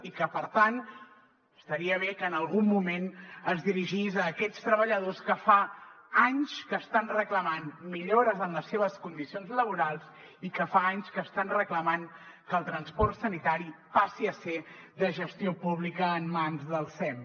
i que per tant estaria bé que en algun moment es dirigís a aquests treballadors que fa anys que estan reclamant millores en les seves condicions laborals i que fa anys que estan reclamant que el transport sanitari passi a ser de gestió pública en mans del sem